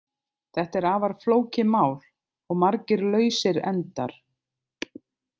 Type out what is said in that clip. Þetta er afar flókið mál og margir lausir endar.